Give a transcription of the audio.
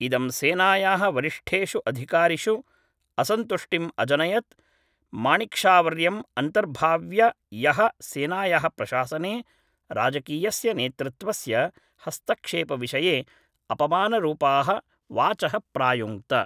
इदं सेनायाः वरिष्ठेषु अधिकारिषु असन्तुष्टिम् अजनयत् माणिक्शावर्यम् अन्तर्भाव्य यः सेनायाः प्रशासने राजकीयस्य नेतृत्वस्य हस्तक्षेपविषये अपमानरूपाः वाचः प्रायुङ्क्त